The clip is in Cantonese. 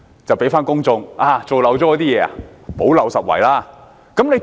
有甚麼事情漏了做，便向公眾補漏拾遺。